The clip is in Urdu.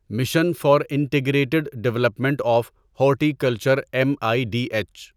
mission for integrated development of horticulture M I D H